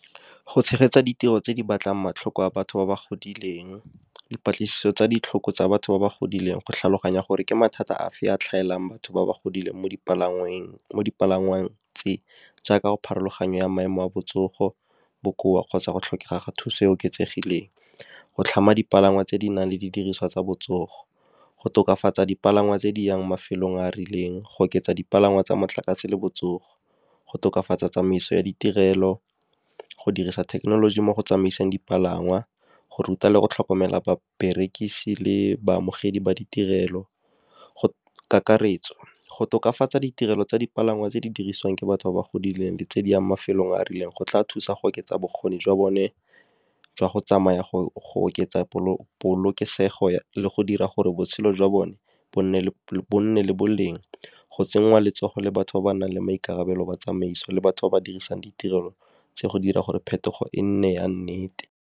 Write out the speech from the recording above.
Go tshegetsa ditiro tse di batlang matlhoko a batho ba ba godileng, dipatlisiso tsa ditlhoko tsa batho ba ba godileng go tlhaloganya gore ke mathata a fe a tlhaelang batho ba ba godileng mo dipalangweng, jaaka pharologanyo ya maemo a botsogo, bokoa kgotsa go tlhokega ga thuso e oketsegileng. Go tlhama dipalangwa tse di nang le didiriswa tsa botsogo, go tokafatsa dipalangwa tse di yang mafelong a a rileng, go oketsa dipalangwa tsa motlakase le botsogo, go tokafatsa tsamaiso ya ditirelo, go dirisa thekenoloji mo go tsamaiseng dipalangwa, go ruta le go tlhokomela baberekisi le baamogedi ba ditirelo. Kakaretso, go tokafatsa ditirelo tsa dipalangwa tse di dirisiwang ke batho ba ba godileng, di tse di yang mafelong a a rileng, go tla thusa go oketsa bokgoni jwa bone jwa go tsamaya, go oketsa polokesego, le go dira gore botshelo jwa bone bo nne le boleng. Go tsenngwa letsogo le batho ba ba nang le maikarabelo, ba tsamaiso le batho ba ba dirisang ditirelo tse go dira gore phetogo e nne ya nnete.